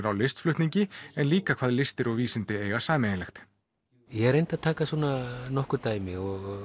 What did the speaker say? á listflutningi en líka hvað listir og vísindi eiga sameiginlegt ég reyndi að taka svona nokkur dæmi